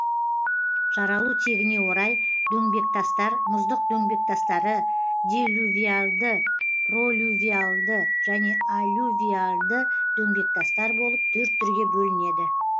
жаралу тегіне орай дөңбектастар мұздық дөңбектастары делювиальды пролювиальды және аллювиальды дөңбектастар болып төрт түрге бөлінеді